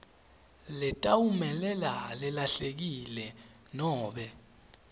letawumelela lelahlekile nobe